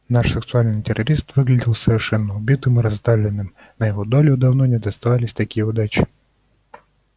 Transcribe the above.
наш сексуальный террорист выглядел совершенно убитым и раздавленным на его долю давно не доставались такие неудачи